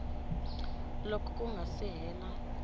loko ku nga si hela